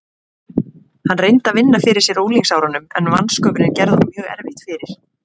Hann reyndi að vinna fyrir sér á unglingsárunum en vansköpunin gerði honum mjög erfitt fyrir.